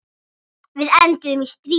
Við enduðum í stríði.